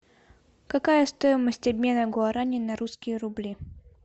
какая стоимость обмена гуарани на русские рубли